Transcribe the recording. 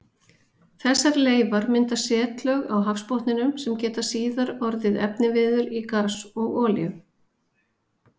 Þessar leifar mynda setlög á hafsbotninum sem geta síðar orðið efniviður í gas og olíu.